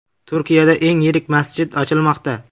Turkiyada eng yirik masjid ochilmoqda .